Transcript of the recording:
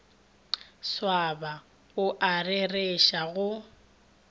swaba o a rereša go